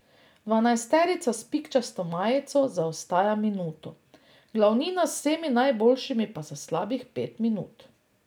Dvanajsterica s pikčasto majico zaostaja minuto, glavnina z vsemi najboljšimi pa slabih pet minut.